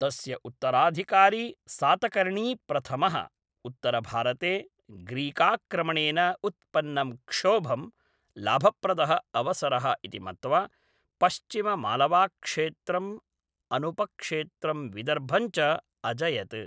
तस्य उत्तराधिकारी सातकर्णी प्रथमः, उत्तरभारते ग्रीकाक्रमणेन उत्पन्नं क्षोभम्, लाभप्रदः अवसरः इति मत्वा पश्चिममालवाक्षेत्रं, अनुपक्षेत्रं विदर्भं च अजयत्।